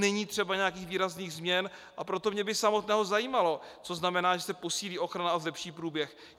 Není třeba nějakých výrazných změn, a proto mě by samotného zajímalo, co znamená, že se posílí ochrana a zlepší průběh.